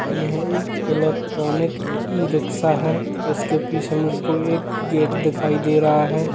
यह एक electronic e rickshaw है इसके पीछे मुझको एक गेट दिखाई दे रहा है।